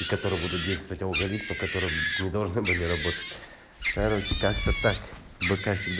которые будут действовать алгоритм по которому не должны были работать короче как то так быка всегда